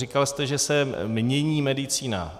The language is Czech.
Říkal jste, že se mění medicína.